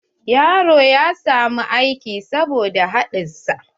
Yaron ya samu aiki saboda haɗin sa.